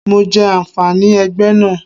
Mo jẹ àǹfààní ẹgbẹ́ náà.